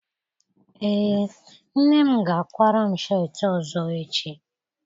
Ee, nne m ga-akwara m sheetị ọzọ echi